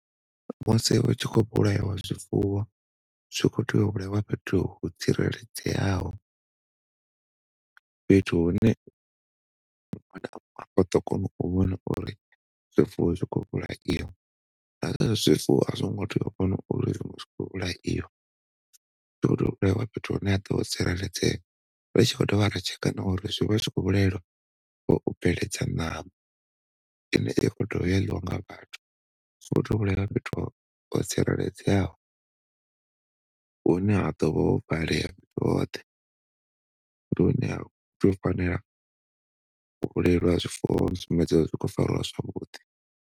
Musi u tshi khou vhulaiwa zwifuwo zwi khou tea u vhulaiwa fhethu ho tsireledzeaho, fhethu hune vha ḓo kona u vhona uri zwifuwo zwi khou vhulaiwa zwifuwo a zwi ngo tea u vhona uri zwi khou vhulaiwa. u vhulaiwa fhethu hune ha ḓo tsireledzea ri tshi khou dovha ra tsheka na uri zwivha zwi khou vhulaiwa u bveledza ṋama ine i khou dovha ya ḽiwa nga vhathu so hutea u vhulaiwa fhethu ho tsireledzeaho hune ha ḓovha ho valea hoṱhe ndi hune ha tea u fanela u vhulaiwa ha zwifuwo u sumbedza uri zwi khou zwavhuḓi.